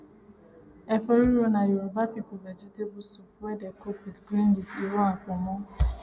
efo riro na yoruba people vegetable soup wey dey cook with green leaf iru and ponmo